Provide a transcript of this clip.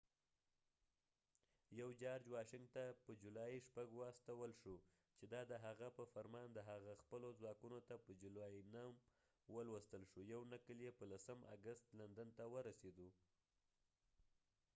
یو جارج واشنګټن ته په جولای 6 واستول شو چې دا د هغه په فرمان د هغه خپلو ځواکونو ته په جولای 9 ولوستل شو یو نقل يې په 10 اګست لندن ته ورسېدو